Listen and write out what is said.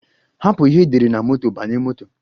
Hapụ ihe e dere na moto banye moto